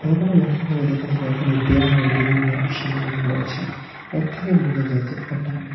ঘর গুলো লক্ষ করে দেখা যাবে এখানে ব্যায়ামের বিভিন্ন সামগ্রী রয়েছে এর থেকে বোঝা যায় যে এটা--